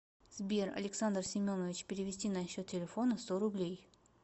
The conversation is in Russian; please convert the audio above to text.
сбер александр семенович перевести на счет телефона сто рублей